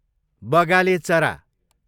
बगाले चरा